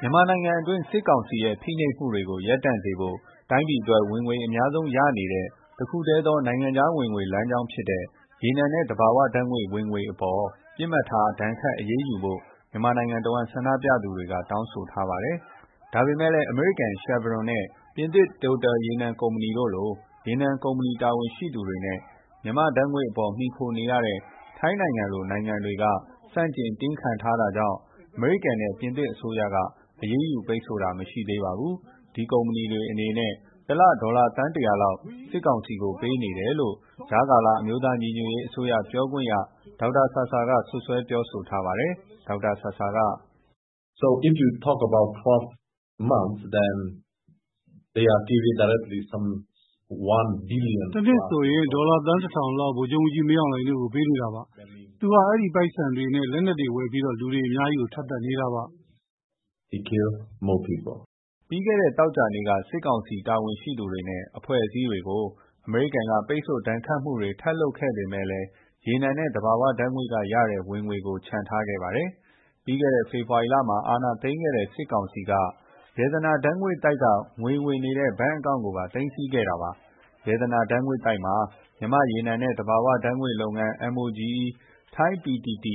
မြန်မာနိုင်ငံအတွင်း စစ်ကောင်စီရဲ့ ဖိနှိပ်မှုတွေ ရပ်တန့်စေဖို့ တိုင်းပြည်အတွက် ဝင်ငွေအများဆုံးရနေတဲ့ တခုတည်းသောနိုင်ငံခြားဝင်ငွေ လမ်းကြောင်းဖြစ်တဲ့ ရေနံ နဲ့ သဘာဝဓာတ်ငွေ့ ဝင်ငွေအပေါ် ပစ်မှတ်ထား ဒဏ်ခတ်အရေးယူဖို့ မြန်မာနိုင်ငံတဝန်း ဆန္ဒပြသူတွေက တောင်းဆိုထားပါတယ်။ ဒါပေမဲ့လည်း အမေရိကန် Chervon နဲ့ ပြင်သစ် Total ရေနံ ကုမ္ပဏီတို့လို ရေနံ ကုမ္ပဏီတာဝန်ရှိသူတွေ နဲ့ မြန်မာဓာတ်ငွေ့အပေါ် မှီခိုနေရတဲ့ ထိုင်းနိုင်ငံလို နိုင်ငံတွေက ဆန့်ကျင် တင်းခံထားတာကြောင့် အမေရိကန် နဲ့ ပြင်သစ်အစိုးရက အရေးယူပိတ်ဆို့တာ မရှိသေးပါဘူး။ ဒီကုမ္ပဏီတွေအနေနဲ့ တလ ဒေါ်လာ သန်း ၁၀၀ လောက် စစ်ကောင်စီကို ပေးနေတယ်လို့ ကြားကာလ အမျိုးသားညီညွတ်အရေးအစိုးရ ပြောခွင့်ရ ဒေါက်တာ ဆာဆာ က စွပ်စွဲပြောဆိုထားပါတယ်။ "တနှစ်ဆိုရင် ဒေါ်လာ သန်း ၁၀၀၀ လောက် မင်းအောင်လှိုင်တို့ကို ပေးနေတာပါ။ သူက အဲ့ဒီပိုက်ဆံတွေ နဲ့ လက်နက်တွေ ဝယ်ပြီး လူတွေ အများကြီး ထပ်သတ်နေတာပါ" ပြီးခဲ့တဲ့ သောကြာနေ့က စစ်ကောင်စီ တာဝန်ရှိသူတွေနဲ့ အဖွဲ့အစည်းတွေကို အမေရိကန်က ပိတ်ဆို့ ဒဏ်ခတ်မှုတွေ ထပ်လုပ်ခဲ့ပေမဲ့လည်း ရေနံ နဲ့ သဘာဝဓာတ်ငွေ့ကရတဲ့ ဝင်ငွေကို ချန်ထားခဲ့ပါတယ်။ ပြီးခဲ့တဲ့ ဖေဖော်ဝါရီလမှာ အာဏာသိမ်းခဲ့တဲ့ စစ်ကောင်စီက ရတနာဓာတ်ငွေ့ သိုက်က ငွေဝင်နေတဲ့ ဘဏ်အကောင့်ကိုပါ သိမ်းစီးခဲ့ ပါတယ်။ ရတနာဓာတ်ငွေ့သိုက်မှာ မြန်မာ့ ရေနံနဲ့ သဘာဝဓာတ်ငွေ့လုပ်ငန်း MOGE, ထိုင်း PTT,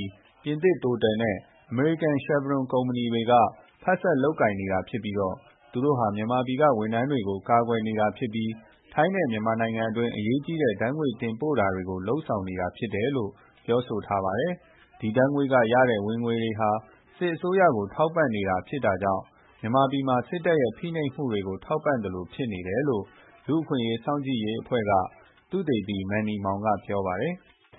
ပြင်သစ် Total နဲ့ အမေရိကန် Chevron ကုမ္ပဏီတွေက ဖက်စပ်လုပ်ကိုင်နေတာဖြစ်ပြီး သူတို့ဟာ မြန်မာပြည်က ဝန်ထမ်းတွေကို ကာကွယ်နေတာဖြစ်ပြီး ထိုင်းနဲ့ မြန်မာနိုင်ငံအတွင်း အရေးကြီးတဲ့ ဓာတ်ငွေ့ တင်ပို့တာကို လုပ်ဆောင်နေတာဖြစ်တယ်လို့ ပြောဆိုထားပါတယ်။ ဒီဓာတ်ငွေ့က ရတဲ့ ဝင်ငွေတွေဟာ စစ်အစိုးရကို ထောက်ပန့်နေတာဖြစ်တာကြောင့် မြန်မာပြည်မှာ စစ်တပ်ရဲ့ ဖိနှိပ်မှုတွေကို ထောက်ပန့်သလို ဖြစ်နေတယ်လို့ လူ့အခွင့်အရေးစောင့်ကြည့်ရေးအဖွဲ့က သုတေသီ Manny Maung က ပြောပါတယ်။ "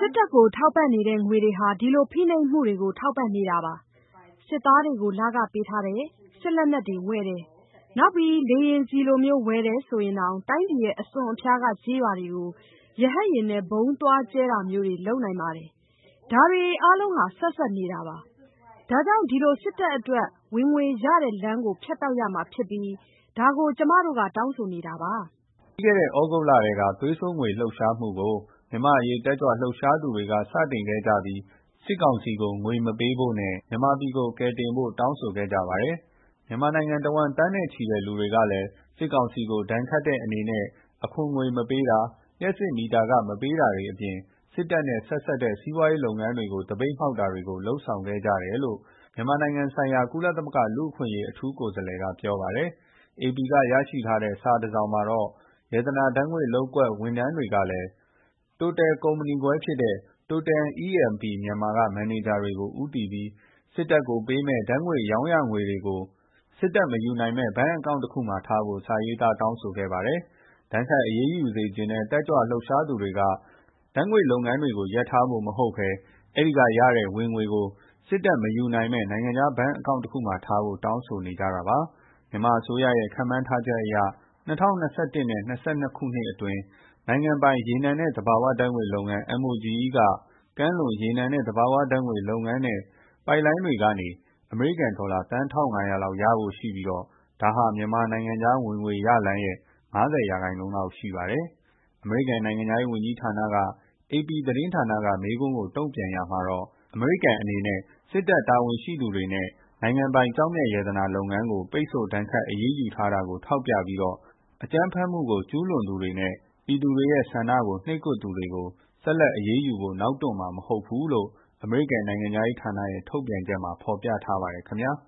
စစ်တပ်ကို ထောက်ပန့်နေတဲ့ ငွေတွေဟာ ဒီလို ဖိနှိပ်မှုတွေကို ထောက်ပန့်နေတာပါ။ စစ်သားတွေကို လခပေးထားတယ်၊ စစ်လက်နက်တွေ ဝယ်တယ်၊ နောက်ပြီး လေယာဉ်ဆီလိုမျိုးဝယ်တယ်ဆိုရင်တောင် တိုင်းပြည်ရဲ့ အစွန်အဖျားက ကျေးရွာတွေကို ရဟတ်ယာဉ် နဲ့ ဗုံးသွားကြဲတာမျိုးတွေ လုပ်နိုင်ပါတယ်။ ဒါတွေအားလုံးဟာ ဆက်စပ်နေတာပါ။ ဒါကြောင့် ဒီလို စစ်တပ်အတွက် ဝင်ငွေရလမ်းကို ဖြတ်တောက်ပစ်ရမှာ ဖြစ်ပြီး ဒါကို ကျမတို့ က တောင်းဆိုနေတာပါ" ပြီးခဲ့တဲ့ သြဂုတ်လ ကတည်းက သွေးစွန်းငွေ လှုပ်ရှားမှုကို မြန်မာတက်ကြွလှုပ်ရှားသူတွေက စတင်ခဲ့ပြီး စစ်ကောင်စီကို ငွေမပေးဖို့ နဲ့ မြန်မာပြည်ကို ကယ်တင်ဖို့ တောင်းဆိုခဲ့ကြပါတယ်။ မြန်မာနိုင်ငံတဝန်း သန်းနဲ့ချီတဲ့ လူတွေကလည်း စစ်ကောင်စီကို ဒဏ်ခတ်တဲ့ အနေနဲ့ အခွန်မပေးတာ၊ လျှပ်စစ်မီတာခတွေ မပေး တာအပြင် စစ်တပ် နဲ့ ဆက်စပ် တဲ့ စီးပွားရေး လုပ်ငန်းတွေကို သပိတ်မှောက်တာတွေကို လုပ်ဆောင်ခဲ့ကြတယ်လို့ မြန်မာနိုင်ငံဆိုင်ရာ ကုလသမဂ္ဂလူ့အခွင့်အရေး အထူးကိုယ်စားလှယ်က ပြောပါတယ်။ အေပီက ရရှိထားတဲ့ စာတစောင်မှာတော့ ရတနာဓာတ်ငွေ့လုပ်ကွက်က ဝန်ထမ်းတွေကလည်း Total ကုမ္ပဏီ ခွဲဖြစ်တဲ့ Total E&P Myanmar က မန်နေဂျာတွေကို ဦးတည်ပြီး စစ်တပ်ကို ပေးမယ့် ဓာတ်ငွေ့ရောင်းရ ငွေတွေကို စစ်တပ်မယူနိုင်မယ့် အကောင့်တခုမှာ ထားဖို့ စာရေးသား တောင်းဆိုခဲ့ပါတယ်။ ဒဏ်ခတ်အရေးယူစေချင်တဲ့ တက်ကြွလှုပ်ရှားသူတွေက ဓာတ်ငွေ့လုပ်ငန်းကို ရပ်ထားဖို့ မဟုတ်ပဲ အဲ့ဒီက ရတဲ့ ဝင်ငွေကို စစ်တပ်က မယူနိုင်မယ့် နိုင်ငံခြားဘဏ် အကောင့် တခုမှာ ထားဖို့ တောင်းဆိုနေကြတာပါ။ မြန်မာအစိုးရရဲ့ ခန့်မှန်းထားချက်အရ ၂၀၂၁ နဲ့ ၂၀၂၂ ခုနှစ်အတွင်း နိုင်ငံပိုင် ရေနံ နဲ့ သဘာဝဓာတ်ငွေ့ လုပ်ငန်း MOGE ကကမ်းလွန် ရေနံ နဲ့ သဘာဝဓာတ်ငွေ့ လုပ်ငန်း နဲ့ ပိုက်လိုင်းတွေကနေ အမေရိကန် ဒေါ်လာ သန်း ၁၅၀၀ လောက်ရဖို့ ရှိပြီး ဒါဟာ မြန်မာနိုင်ငံခြားဝင်ငွေရလမ်း ရဲ့ ၅၀% လောက်ရှိပါတယ်။ အမေရိကန် နိုင်ငံခြားရေးဝန်ကြီးဌာနက အေပီသတင်းဌာနက မေးခွန်းကို တုံ့ပြန်ရာမှာတော့ အမေရိကန် အနေနဲ့ စစ်တပ် တာဝန်ရှိသူတွေနဲ့ နိုင်ငံပိုင် ကျောက်မျက်ရတနာလုပ်ငန်းကို ပိတ်ဆို့ဒဏ်ခတ် အရေးယူထားတာကို ထောက်ပြပြီးတော့ အကြမ်းဖက်မှုကို ကျုးလွန်သူတွေ နဲ့ ပြည်သူတွေ ရဲ့ ဆန္ဒကို နှိပ်ကွပ်သူတွေကို ဆက်လက်အရေးယူဖို့ နောက်တွန့်မှာ မဟုတ်ဘူးလို့ အမေရိကန် နိုင်ငံခြားရေးဌာနရဲ့ ထုတ်ပြန်ချက်မှာ ဖော်ပြထားပါတယ် ခင်ဗျာ။